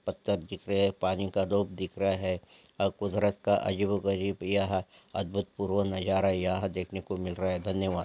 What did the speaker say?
पत्थर दिख रहे हैं पानी का धूप दिख रहा है अब कुदरत का अजीबो गरीब यह अद्भुत पूर्व नजारा यहां देखने को मिल रहा है धन्यवाद।